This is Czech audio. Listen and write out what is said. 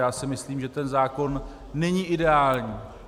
Já si myslím, že ten zákon není ideální.